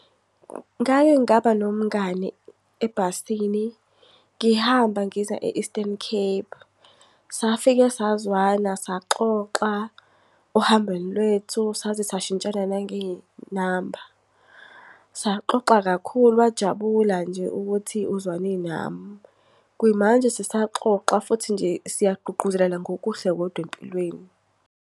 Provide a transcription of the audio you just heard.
Ngake ngaba nomngani ebhasini ngihamba ngiza e-Eastern Cape. Safika sazwana, saxoxa ohambeni lwethu, saze sashintshana nangey'namba. Saxoxa kakhulu, wajabula nje ukuthi uzwane nami. Kuyimanje sisaxoxa, futhi nje siyagqugquzelana ngokuhle kodwa empilweni.